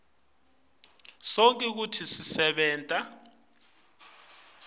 sonkhe kutsi kusebenta